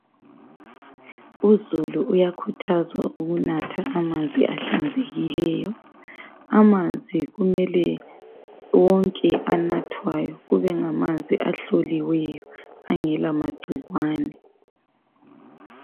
Uzulu uyakhuthazwa ukunatha amanzi ahlanzekileyo. Amanzi kumele wonke anathwayo kube ngamanzi ahloliweyo angela magcikwane.